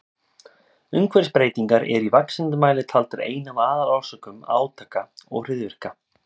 Umhverfisbreytingar eru í vaxandi mæli taldar ein af aðalorsökum átaka og hryðjuverka.